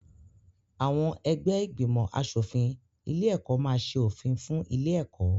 Àwọn ẹgbẹ́ ìgbìmọ̀-aṣòfin ilé-ẹ̀kọ́ máa ṣe òfin fún ilé-ẹ̀kọ́.